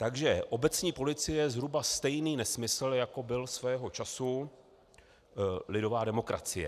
Takže obecní policie je zhruba stejný nesmysl, jako byla svého času lidová demokracie.